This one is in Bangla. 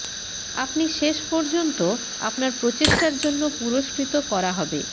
আপনি শেষ পর্যন্ত আপনার প্রচেষ্টার জন্য পুরস্কৃত করা হবে